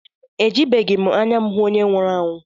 Ejibeghị m anya m hụ onye nwụrụ anwụ